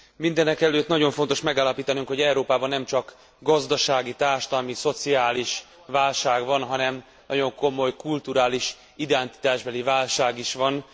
Mindenekelőtt nagyon fontos megállapítanunk, hogy Európában nem csak gazdasági, társadalmi, szociális válság van, hanem nagyon komoly kulturális identitásbeli válság is van.